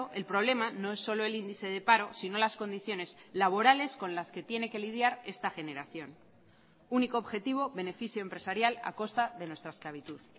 el problema no es solo el índice de paro sino las condiciones laborales con las que tiene que lidiar esta generación único objetivo beneficio empresarial a costa de nuestra esclavitud